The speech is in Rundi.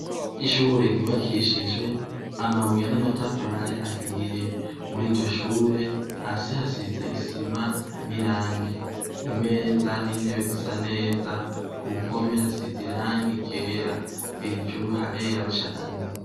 Ishure ryubakishijwe amabuye n'amatafari ahiye. Muri iryo shure, hasi hasize isima n'irangi. Imeza n'intebe zisa neza, ku mpome hasize irangi ryera, hejuru harera cane.